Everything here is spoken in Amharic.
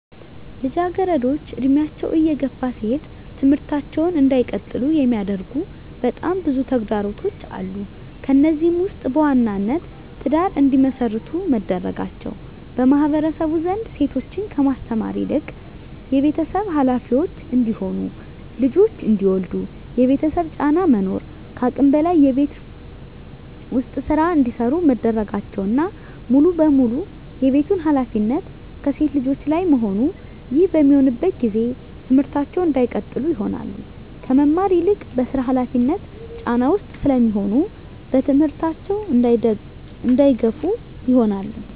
ልጃገረዶች እድሜያቸው እየገፋ ሲሄድ ትምህርታቸውን እንዳይቀጥሉ የሚያደርጉ በጣም ብዙ ተግዳሮቶች አሉ። ከነዚህም ውስጥ በዋናነት ትዳር እንዲመሰርቱ መደረጋቸው በማህበረሰቡ ዘንድ ሴቶችን ከማስተማር ይልቅ የቤተሰብ ሀላፊዎች እንዲሆኑ ልጆች እንዲወልዱ የቤተሰብ ጫና መኖር ከአቅም በላይ የቤት ውስጥ ስራ እንዲሰሩ መደረጋቸውና ሙሉ በሙሉ የቤቱን ሀላፊነት ከሴት ልጆች ላይ መሆኑ ይህ በሚሆንበት ጊዜ ትምህርታቸውን እንዳይቀጥሉ ይሆናሉ። ከመማር ይልቅ በስራ ሀላፊነት ጫና ውስጥ ስለሚሆኑ በትምህርታቸው እንዳይገፋ ይሆናሉ።